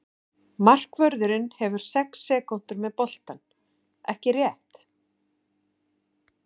Markvörðurinn hefur sex sekúndur með boltann, ekki rétt?